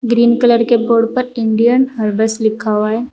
Green colour के board पर Indian herbs लिखा हुआ है।